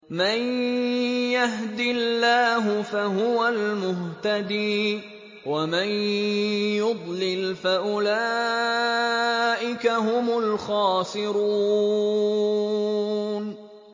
مَن يَهْدِ اللَّهُ فَهُوَ الْمُهْتَدِي ۖ وَمَن يُضْلِلْ فَأُولَٰئِكَ هُمُ الْخَاسِرُونَ